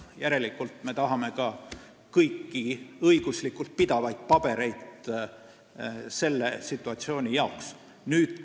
Sel põhjusel me tahame, et selle situatsiooni puhuks oleks olemas kõik vajalikud õiguslikult pidavad paberid.